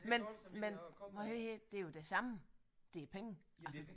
Men men nej det er jo det samme det er penge altså